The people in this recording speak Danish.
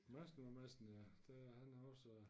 Madsen var Madsen ja det han har også